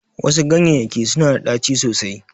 Wasu ganyeyyaki suna da ɗaci sosai.